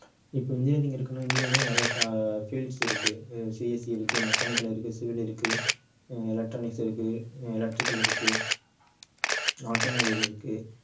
இப்ப engineering இருக்குன்னா engineering லயே நிறைய டா~ fields இருக்கு அஹ் CSC இருக்கு mechanical இருக்கு civil இருக்கு ஹம் electronics இருக்கு electrical இருக்கு automobile இருக்கு